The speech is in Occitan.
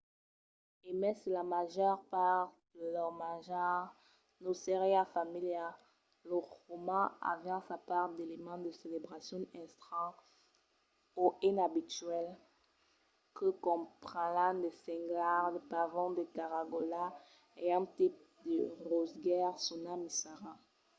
e mai se la màger part de lor manjar nos seriá familiara los romans avián sa part d’elements de celebracion estranhs o inabituals que comprenián de senglars de pavons de cagaraulas e un tipe de rosegaire sonat missara